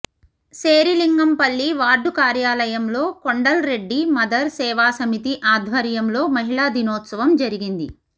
Serilingampally ward కార్యాలయంలో Kondal Reddy mother Seva Samiti ఆధ్వర్యంలో మహిళా దినోత్సవం జరిగింది